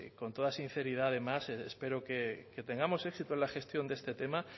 con toda sinceridad además espero que tengamos éxito en la gestión de este tema